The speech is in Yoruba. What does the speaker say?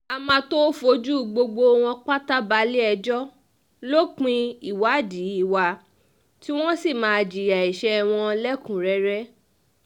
a um máa tóó fojú gbogbo wọn pátá balẹ̀-ẹjọ́ lópin ìwádìí wa tí wọ́n um sì máa jìyà ẹ̀sẹ̀ ẹ̀ wọ̀nlẹ̀kùn-únrẹ́rẹ́